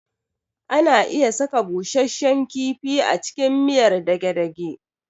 Ana iya saka busashshen kifi a cikin miyar dage-dage